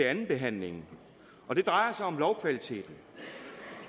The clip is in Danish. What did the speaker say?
andenbehandlingen og det drejer sig om lovkvaliteten